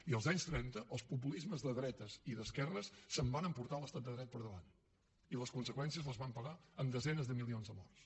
i als anys trenta els populismes de dretes i d’esquerres es van emportar l’estat de dret per davant i les conseqüències les vam pagar en desenes de milions de morts